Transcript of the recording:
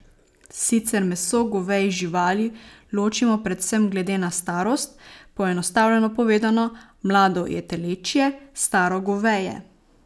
Sicer meso govejih živali ločimo predvsem glede na starost, poenostavljeno povedano, mlado je telečje, staro goveje.